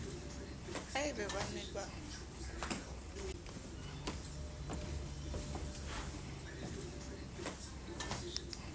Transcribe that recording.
ha e ba ba ne